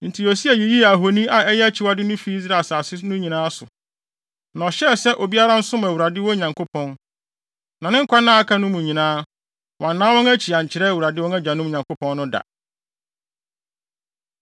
Enti Yosia yiyii ahoni a ɛyɛ akyiwade no fii Israel asase no nyinaa so. Na ɔhyɛɛ sɛ obiara nsom Awurade, wɔn Nyankopɔn. Na ne nkwanna a aka no mu no nyinaa, wɔannan wɔn akyi ankyerɛ Awurade wɔn agyanom Nyankopɔn no da.